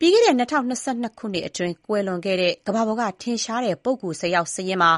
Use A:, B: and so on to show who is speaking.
A: ပြီးခဲ့တဲ့ ၂၀၂၂ ခုနှစ်အတွင်းကွယ်လွန်ခဲ့တဲ့ ကမ္ဘာပေါ်ကထင်ရှားတဲ့ပုဂ္ဂိုလ် ၁၀ ယောက်စာရင်းမှာ